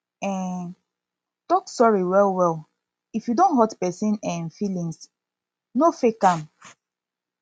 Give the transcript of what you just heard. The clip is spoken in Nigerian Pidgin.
um talk sorry well well if you don hurt person um feelings no fake am